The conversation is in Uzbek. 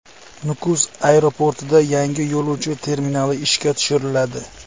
Nukus aeroportida yangi yo‘lovchi terminali ishga tushiriladi.